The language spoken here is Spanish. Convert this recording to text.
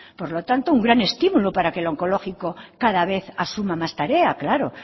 por lo tanto un gran estímulo para que el onkologiko cada vez asuma más tarea claro